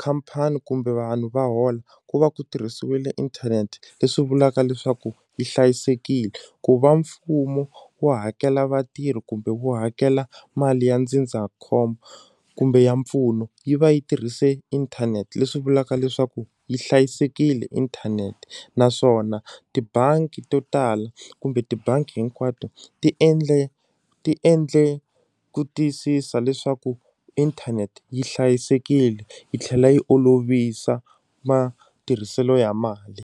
khampani kumbe vanhu va hola ku va ku tirhisiwile inthanete leswi vulaka leswaku yi hlayisekile ku va mfumo wo hakela vatirhi kumbe wu hakela mali ya ndzindzakhombo kumbe ya mpfuno yi va yi tirhise inthanete leswi vulaka leswaku yi hlayisekile inthanete naswona tibangi to tala kumbe tibangi hinkwato ti endle ti endle ku tiyisisa leswaku inthanete yi hlayisekile yi tlhela yi olovisa matirhiselo ya mali.